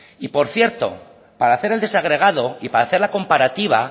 y por cierto para hacer el desagregado y para hacer la comparativa